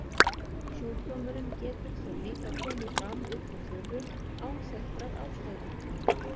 Sjúkdómurinn getur þó líka komið fram upp úr þurru, án þekktrar ástæðu.